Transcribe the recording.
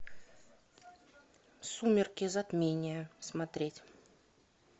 сумерки затмение смотреть